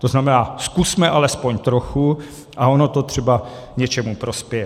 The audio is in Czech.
To znamená, zkusme alespoň trochu a ono to třeba něčemu prospěje.